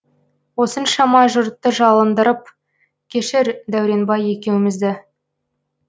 осыншама жұртты жалындырып кешір дәуренбай екеумізді